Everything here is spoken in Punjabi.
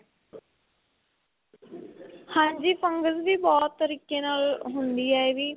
ਹਾਂਜੀ fungus ਵੀ ਬਹੁਤ ਤਰੀਕੇ ਨਾਲ ਹੁੰਦੀ ਏ ਇਹ ਵੀ